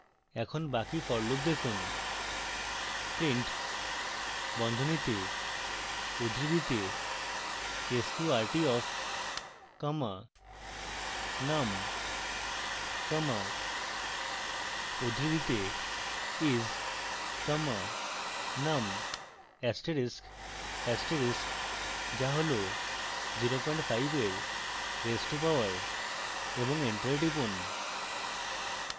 এখন বাকি for loop লিখুন